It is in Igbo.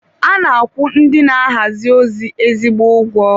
A na-akwụ ndị na-ahazi ozi ezigbo ego.